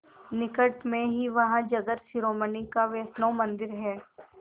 निकट में ही वहाँ जगत शिरोमणि का वैष्णव मंदिर है